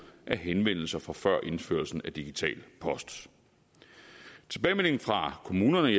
henvendelser fra før indførelsen af digital post tilbagemeldingen fra kommunerne